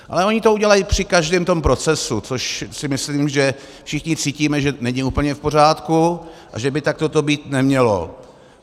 Ale oni to udělají při každém tom procesu, což si myslím, že všichni cítíme, že není úplně v pořádku a že by takhle to být nemělo.